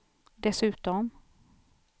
dessutom